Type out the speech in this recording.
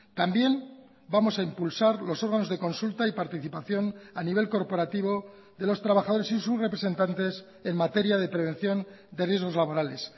también vamos a impulsar los órganos de consulta y participación a nivel corporativo de los trabajadores y sus representantes en materia de prevención de riesgos laborales